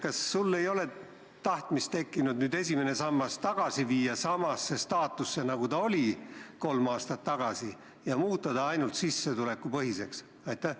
Kas sul ei ole tekkinud tahtmist esimene sammas viia samasse seisu, nagu ta oli kolm aastat tagasi, ehk siis muuta see rohkem sissetulekupõhiseks?